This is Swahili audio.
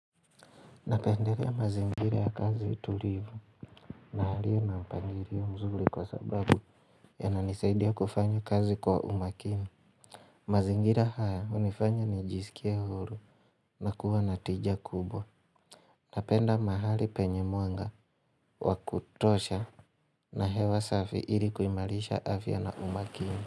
Napendelea mazingira ya kazi tulivu na yalio na mpangilio mzuri kwa sababu yananisaidia kufanya kazi kwa umakini. Mazingira haya hunifanya nijisikie huru na kuwa na tija kubwa. Napenda mahali penye mwanga wa kutosha na hewa safi ilikuimarisha afya na umakini.